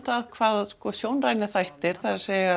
það hvað sjónrænir þættir það er